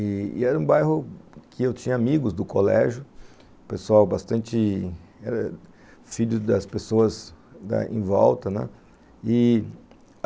i-i-i Era um bairro que eu tinha amigos do colégio, pessoal bastante... filhos das pessoas em volta, né...